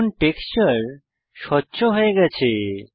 এখন টেক্সচার স্বচ্ছ হয়ে গেছে